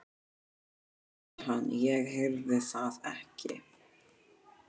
Nei, sagði hann, ég heyrði það ekki.